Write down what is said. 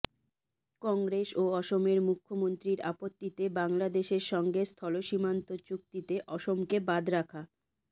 কংগ্রেস ও অসমের মুখ্যমন্ত্রীর আপত্তিতে বাংলাদেশের সঙ্গে স্থলসীমান্ত চুক্তিতে অসমকে বাদ রাখা